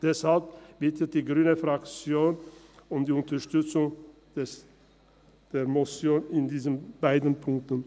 Deshalb bittet die grüne Fraktion um die Unterstützung der Motion in diesen beiden Punkten.